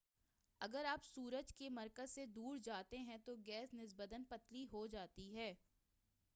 اگر آپ سورج کے مرکز سے دور جاتے ہیں تو گیس نسبتاً پتلی ہو جاتی ہے